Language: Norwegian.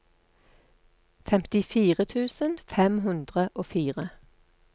femtifire tusen fem hundre og fire